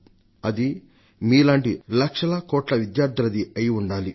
అది మీలాంటి లక్షల కోట్ల విద్యార్థులది అయి ఉండాలి